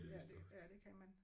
Ja det ja det kan man